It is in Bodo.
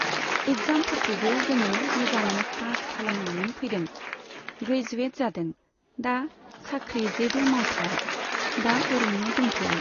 इगजामफोरखौबो जोङो मोजाङै पास खालामनानै फैदों, ग्रेजुयेद जादों, दा साख्रि जेबो मावथवा। दा ओरैनो दंथ'यो।